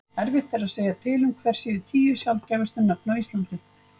erfitt er að segja til um hver séu tíu sjaldgæfustu nöfn á íslandi